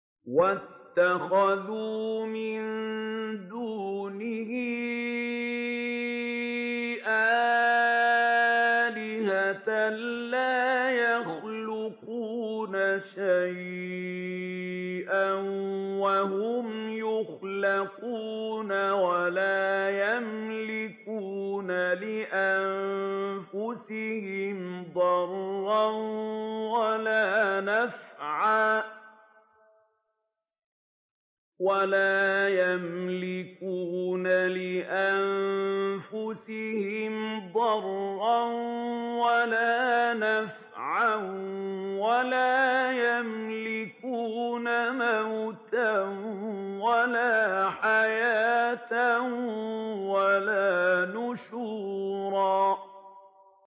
وَاتَّخَذُوا مِن دُونِهِ آلِهَةً لَّا يَخْلُقُونَ شَيْئًا وَهُمْ يُخْلَقُونَ وَلَا يَمْلِكُونَ لِأَنفُسِهِمْ ضَرًّا وَلَا نَفْعًا وَلَا يَمْلِكُونَ مَوْتًا وَلَا حَيَاةً وَلَا نُشُورًا